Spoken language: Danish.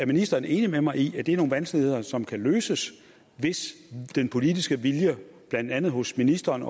ministeren enig med mig i at det er nogle vanskeligheder som kan løses hvis den politiske vilje blandt andet hos ministeren